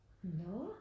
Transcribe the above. Nårh